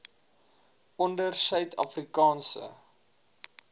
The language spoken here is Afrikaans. onder suid afrikaanse